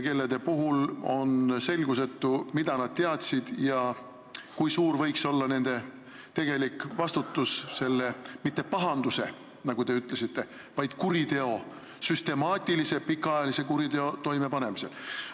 Praegu on selgusetu, mida keegi teadis ja kui suur võiks olla kellegi tegelik vastutus selle mitte pahanduse, nagu te ütlesite, vaid kuriteo, süstemaatilise ja pikaajalise kuriteo toimepanemisel.